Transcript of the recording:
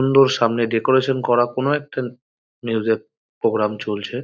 সুন্দর সামনে একটি ডেকরেসন করা। কোন একটা নিজেদের প্রোগ্রাম চলছে।